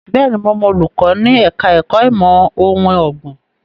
Bẹ́ẹ̀ni, mo mọ olùkọ́ ní ẹ̀ka ẹ̀kó ìmọ̀ ohun ọ̀gbìn.